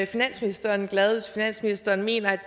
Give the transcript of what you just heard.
finansministeren glad hvis finansministeren mener at